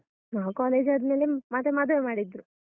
ನಾವ್ ಕಾಲೇಜ್ ಆದ್ಮೇಲೆ ಮತ್ತೆ ಮದುವೆ ಮಾಡಿದ್ರು.